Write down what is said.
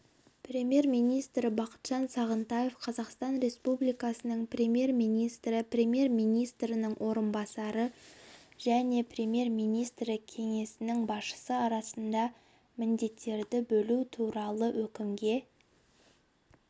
премьер-министрі бақытжан сағынтаев қазақстан республикасының премьер-министрі премьер-министрінің орынбасарлары және премьер-министрі кеңсесінің басшысы арасында міндеттерді бөлу туралы өкімге